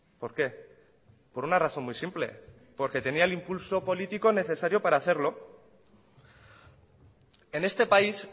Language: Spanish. por qué por una razón muy simple porque tenía el impulso político necesario para hacerlo en este país